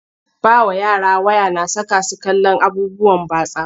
Ba wa yara waya na saka su kallon abubuwan batsa.